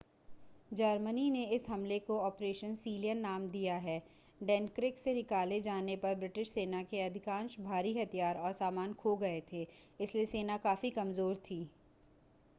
Germany ने इस हमले को ऑपरेशन सीलियन नाम दिया डनक्रिक से निकाले जाने पर ब्रिटिश सेना के अधिकांश भारी हथियार और सामान खो गए थे इसलिए सेना काफी कमज़ोर थी